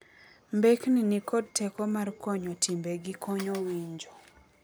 Mbekni ni kod teko mar konyo timbe gi konyo winjo.